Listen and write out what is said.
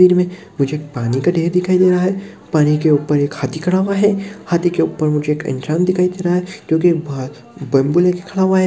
में मुझे एक पानी का ढेर दिखाई दे रहा है पानी के ऊपर एक हाथी खड़ा हुआ है हाथी के ऊपर मुझे एक इंसान दिखाई दे रहा है जोकि बम्बू लेके खड़ा हुआ है।